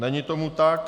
Není tomu tak.